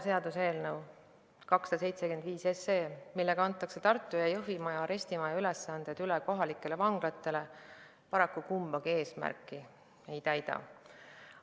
Seaduseelnõu 275, millega antakse Tartu ja Jõhvi arestimaja ülesanded üle kohalikele vanglatele, paraku kumbagi eesmärki ei täida.